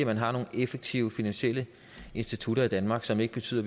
man har nogle effektive finansielle institutter i danmark som ikke betyder